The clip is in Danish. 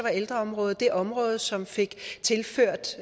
ældreområdet det område som fik tilført